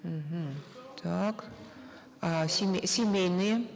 мгм так а семейные